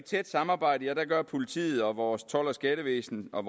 tæt samarbejde gør politiet og vores told og skattevæsen og